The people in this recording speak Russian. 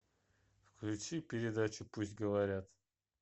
включи передачу пусть говорят